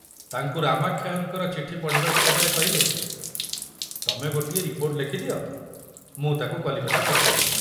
ତାଙ୍କୁ ରାମାକ୍ଷୟଙ୍କ ଚିଠି ପଢ଼ିବାକୁ ଦେବାରେ କହିଲେ, ତମେ ଗୋଟିଏ ରିପୋର୍ଟ ଲେଖୁଦିଅ, ମୁଁ ତାକୁ କଲିକତା ପଠାଇଦେବି।